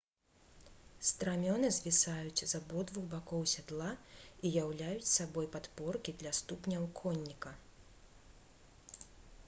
страмёны звісаюць з абодвух бакоў сядла і ўяўляюць сабой падпоркі для ступняў конніка